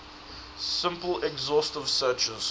simple exhaustive searches